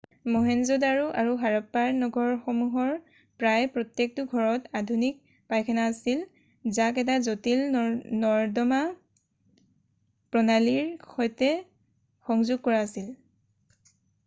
মহেঞ্জো-দাৰো আৰু হৰপ্পাৰ নগৰসমূহৰ প্ৰায় প্ৰত্যেকটো ঘৰত অত্যাধুনিক পাইখানা আছিল যাক এটা জটিল নৰ্দমা প্ৰণালীৰ সৈতে সংযোগ কৰা আছিল